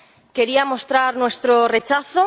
Quería mostrar nuestro rechazo.